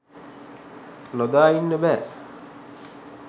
නොදා ඉන්න බෑ